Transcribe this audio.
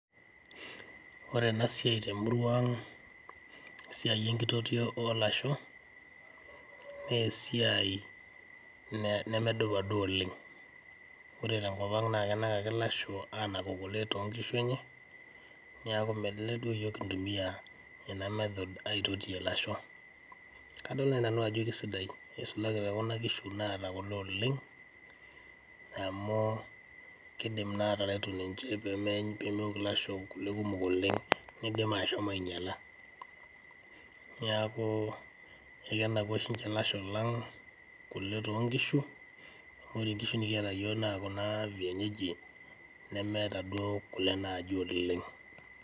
ore ena siai temurua ang' esiai enkitotio olasho, nesiai nemedupa duo oleng.'Ore tenkop ang' naa kenak ake ilasho anaku kule tonkishu enye, niaku melelek duo yiok kintumiyia ena method aitotiyie ilasho. Kadol naaji nanu ajo kisidai isulaki tekuna kishu naata kule oleng' amu kidim naa ataretu ninche pemewok ilasho kule kumok oleng' nidim ashomo ainyiala. Niaku ekenaku oshi ninche ilasho lang' kule toonkishu, amu ore inkishu nikiata yiok naa kuna vienyeji nemeeta duo kule naaji oleng'.